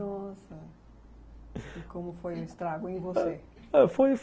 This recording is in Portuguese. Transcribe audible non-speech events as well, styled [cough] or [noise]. Nossa... [laughs] e como foi o estrago em você? ah, foi